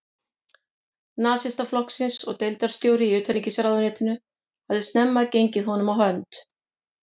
Nasistaflokksins og deildarstjóri í utanríkisráðuneytinu, hafði snemma gengið honum á hönd.